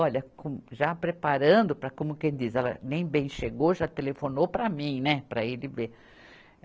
Olha com, já preparando para, como quem diz, ela nem bem chegou, já telefonou para mim, né, para ele ver.